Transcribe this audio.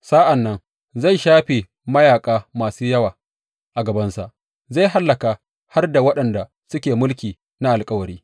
Sa’an nan zai shafe mayaƙa masu yawa a gabansa; zai hallaka har da waɗanda suke mulki na alkawari.